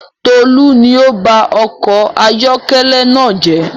Tolu ni ọ ba ọkọ̀ ayọkẹlẹ naa jẹ